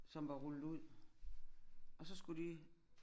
Som var rullet ud og så skulle de